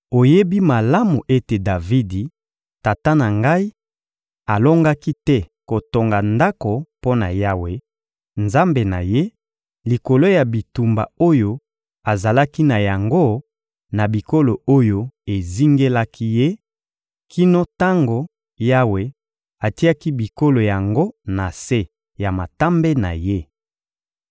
— Oyebi malamu ete Davidi, tata na ngai, alongaki te kotonga Ndako mpo na Yawe, Nzambe na ye, likolo ya bitumba oyo azalaki na yango na bikolo oyo ezingelaki ye, kino tango Yawe atiaki bikolo yango na se ya matambe na ye.